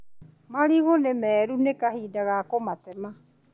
Marigũ nĩmeru, nĩ kahinda ga kũmatema.